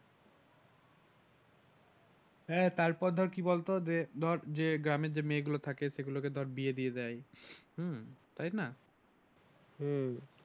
হ্যাঁ তারপর ধর কি বলতো যে ধর যে গ্রামের যে মেয়েগুলো থাকে সেগুলোকে বিয়ে দিয়ে দেয় হম তাইনা? হম